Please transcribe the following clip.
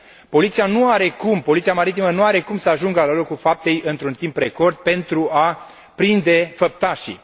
Poliția maritimă nu are cum să ajungă la locul faptei într un timp record pentru a prinde făptașii.